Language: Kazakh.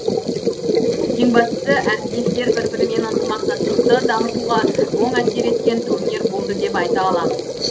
ең бастысы әріптестер бір бірімен ынтымақтастықты дамытуға оң әсер еткен турнир болды деп айта аламыз